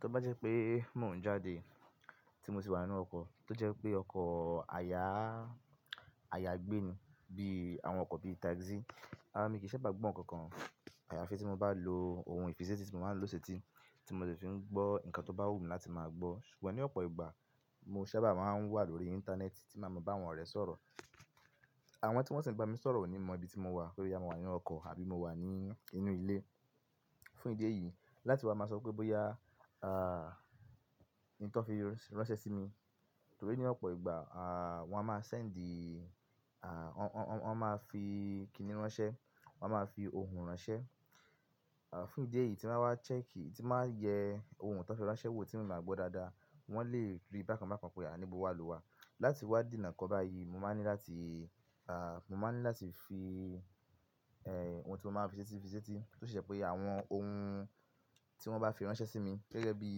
Tó bá jẹ́ pé mò ń jáde tí mo sì wà nínú ọkọ̀ tó jẹ́ pé ọkọ̀ àyàá, àyàgbé ni bí àwọn ọkọ̀ bí taxi, mí kí í sábà gbọ́ nǹkan kan. Àyàfi tí mo bá lo ohun ìfisetì tí mo máa ń lò ṣe tí, tí mo lè fi ń gbọ́ nǹkan tó bá wù mí láti máa gbọ́. Ṣùgbọ́n ní ọ̀pọ̀ ìgbà mo sábà máa ń wà lórí íńtánẹ́ẹ̀tì tí má màá ba àwọn ọ̀rẹ́ ṣọ̀rọ̀. Àwọn tí wọ́n sì ń gba mi sọ̀rọ̀ ò ní mọ ibi tí mo wà boya mo wà nínú ọkọ̀ àbí mo wà ní inú ilé. Fún ìdí èyí láti wá máa sọ pé bóyá, nǹkan fi ránṣẹ́ sí mi. Torí ní ọ̀pọ̀ ìgbà, wọ́n á máa sẹ́ẹ̀ńdì, wọ́n máa fi kìnnì ránṣẹ́, wọ́n máa fi ohùn ránṣẹ́. Fún ìdí èyí tí m bà wa chẹ́ẹ̀kìì, tí m bà yẹ ohun tó fi ránṣẹ́ wò tí m báa gbọ́ dáadáa. Wọ́n lè rí bákan bákan pé à ní bó wà ló wà. Láti wá dènà ǹkan báyìí mo máa ń ní láti, à, mo máa ń ní láti fi, ẹ́h, ohun tí mo máa ń fi ṣetí fì seti tó si je àwọn ohun tí wọ́n bá fi ránṣẹ́ sí mi gẹ́gẹ́ bí,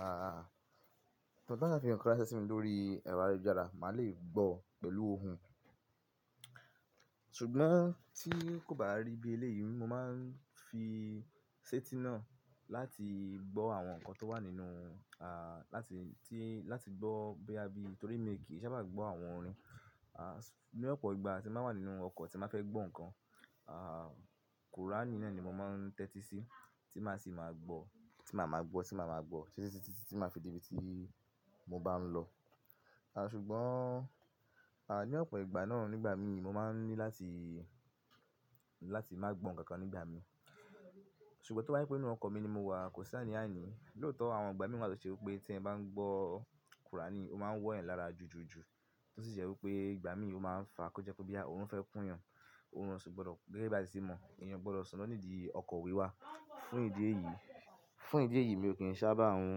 à, ti won ba fi nǹkan ránṣẹ́ sí mi lórí ẹ̀rọ ayélujára, màá le gbọ́ pẹ̀lú ohùn. Ṣùgbọ́n tí kò bá rí bí eléyìí mo máa ń fi ṣẹ́tí náà láti gbọ́ àwọn nǹkan tó wà nínú, à, láti, tí, láti gbọ́ bóyá bí, torí mí kì í sábà gbọ́ àwọn orin. Às, ní ọ̀pọ̀ ìgbà tí màá wà nínú ọkọ̀ tí n baa fẹ́ gbọ́ nǹkan, à, Quran náà ni mo máa ń tẹ́tí sí tí màá sì máa gbọ́, tí màá máa gbọ́, tí màá máa gbọ́ títí tí màá fi dé ibi tí mo bá ń lọ. À, ṣùgbọ́n, à, ní ọ̀pọ̀ ìgbà náà nígbà mí mo máa ń ní láti, láti má gbọ́ nǹkan kan nígbà mí. Ṣùgbọ́n tó bá jẹ́ pé inú ọkọ̀ mi ni mo wà kò sí àní àní lóòótọ́ àwọn ìgbà mìí tó ṣe wí pé tí n bá ń gbọ́ Kurani ó máa ń wọ́ yan lára jújùjù tó sì je wí pé ìgbà mí ó máa ń fa kó jẹ́ pé boya orun fẹ́ kún yàn, orun ọ sì gbọdọ̀, gẹ́gẹ́ bí à si ti mọ̀ èèyàn o gbọdọ̀ sùn lọ nídi ọkọ̀ wíwá. Fún ìdí èyí, fún ìdí èyí mi ò kí ń sábà hun,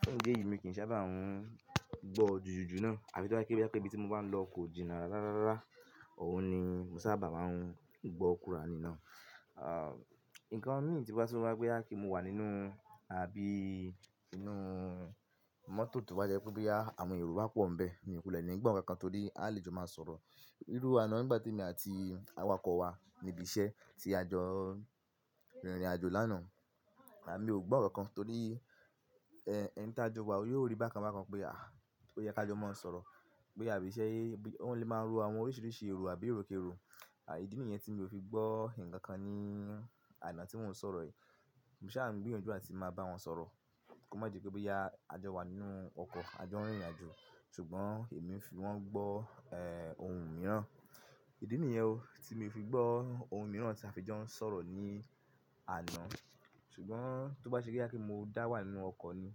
fún ìdí èyí mi ò kí ń sábà hun gbọ́ jújùjù náà àfi tó bá jẹ pe boya ibi tí mo bá ń lọ kò jìnnà rárá. Ọ̀un ni mo sábà máa ń gbọ́ kùránì náà. À, nǹkan mí tí ó bá tun wá pé bóyá kí un wà nínú àbí inú mọ́tò tó bá jẹ́ pé bóyá àwọn Yorùbá pọ̀ ń bẹ́ẹ̀ mi ò kulẹ ni gbọ nǹkan kan torí a lè jọ máa sọ̀rọ̀. Irú àná ngbà tí èmi àti awakọ̀ wa níbi iṣẹ́ ti a jọ rìnrìn àjò lánàá, à mí ò gbọ́ nǹkan kan torí ẹ́n ẹni tí a jọ wà yóò rí bákan bákan pé à, o yẹ ka jọ máa sọ̀rọ̀, pé á bí se, wón lè máa ń ro àwọn oríṣiríṣi èrò àbí erokero. À ìdí nìyẹn tí mi ò fi gbọ́ nǹkan kan ní àná tí mò ń sọ̀rọ̀ yìí. Mo ṣà ń gbìyànjú áti máa bá wọn sọ̀rọ̀ kó má di pé bóyá a jọ wà nínú ọkọ̀, a jọ ń rìnrìn àjò. Ṣùgbọ́n èmi ń fi wọ́n gbọ́, ẹ́h, ohun mìíràn. Ìdí nìyẹn o tí mi fi gbọ́ ohun mìíràn tí a fi jọ ń sọ̀rọ̀ ní àná. Ṣùgbọ́n tó bá ṣe pé boya mo dá wà nínú ọkọ̀ ni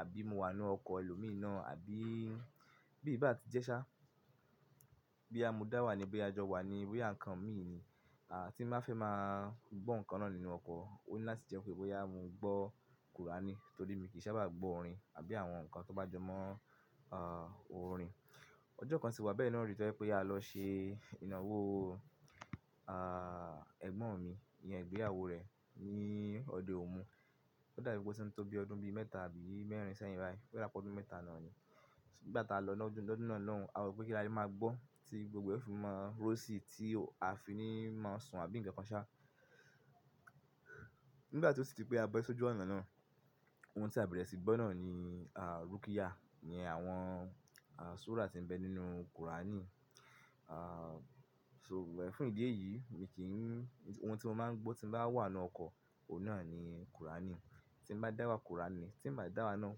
àbí mo wà nínú ọkọ̀ ẹlòmí naa àbí bí i bá ti jẹ́ ṣá, boya mo dá wà ní, boya a jọ wà ní bóyá nǹkan mí ni, à tí n ba fẹ́ máa gbọ́ nǹkan náà nínú ọkọ̀, òun ni láti jẹ́ pé bóyá mo gbọ́ kùránì torí mi kì í sábà gbọ́ orin àbí àwọn nǹkan tó bá jọ mọ́, à, orin. Ọjọ́ kan sì wá bẹ́ẹ̀ náà ri to jé pé a lọ ṣe ìnáwó, à, ẹ̀gbọ́n mi, ìyẹn ìgbéyàwó rẹ̀ ní ọdẹ omu. Ó dàbí pé ó ti ń tó bí ọdún bí mẹ́ta àbí mẹ́rin sẹ́yìn báyìí, ó dàbí pé ọdún mẹ́ta náà ni. Nígbà tí a lọ lọ́dún, lọ́dún náà lóhùn a rò pé kí lá le máa gbọ́ tí gbogbo ẹ́ o fi máa rossy tí a fi ní máa sùn àbí nǹkan kan ṣá. Nígbà tí ó sì di pé a bọ́ sójú ọ̀na náà, ohun tí a bẹ̀rẹ̀ sí gbọ́ náà ni à rúkíyà, ìyẹn àwọn súra tí ń bẹ nínú kùránì. À, ṣùgbọ́n fún ìdí èyí mi kí ń, ohun tí mo máa ń gbọ́ tí mo bá wà nínú ọkọ̀ òun náà ni kùránì. Tí un bá dá wà kùránì, tí n bá dà wà náà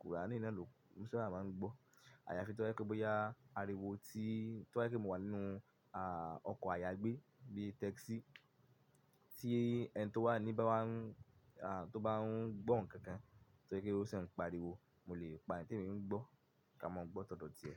kùránì náà ló, mo sábà máa ń gbọ́. Àyàfi tó bá jẹ́ pe bóyá ariwo tí, tó bá jẹ́ pe mo wà nínú, à, ọkọ̀ àyàgbé bí taxi tí ẹni tó wà ní ba wá ń, à, tó bá ń gbọ́ nǹkan kan torí ó siń pariwo, mo lè pa eyi témi ń gbọ́ ká mọ gbọ́ tọ̀dọ̀ ti ẹ.